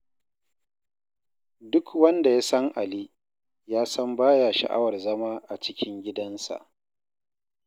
Duk wanda ya san Ali, ya san baya sha'awar zama a cikin gidansa.